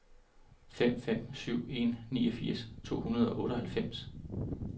fem fem syv en niogfirs to hundrede og otteoghalvfems